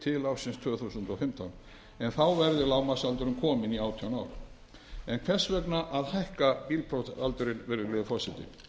til ársins tvö þúsund og fimmtán en þá verði lágmarksaldurinn kominn í átján ár hvers vegna að hækka bílprófsaldurinn virðulegi forseti